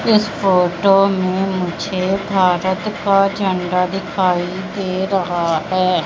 इस फोटो में मुझे भारत का झंडा दिखाई दे रहा है।